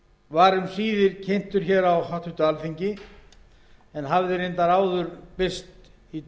var um síðir kynntur á háttvirtu alþingi en hafði reyndar áður birst í